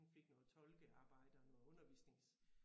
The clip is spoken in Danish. Hun fik noget tolkearbejde og noget undervisnings